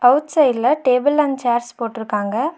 Out சைட்ல table and chairs போட்ருக்காங்க.